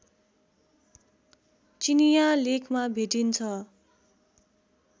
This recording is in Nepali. चिनियाँ लेखमा भेटिन्छ